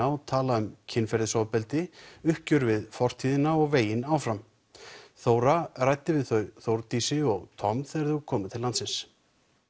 og tala um kynferðisofbeldi uppgjör við fortíðina og veginn áfram Þóra ræddi við þau Þórdísi og Tom þegar þau komu til landsins